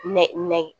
Nɛ nɛgɛ